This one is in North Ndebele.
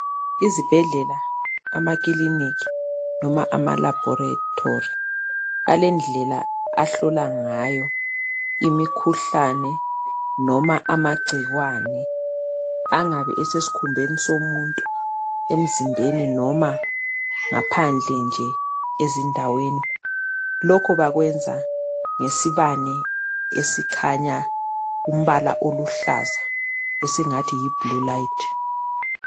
Izibhedlela, amakilinika noma ama laboratory alendlela ahlola ngayo imikhuhlane noma amagcikwane angabe esesikhumbeni somuntu emzimbeni noma ngaphandle nje ezindaweni. Lokho bakwenza ngesibane esikhanya umbala oluhlaza esingathi yi blue light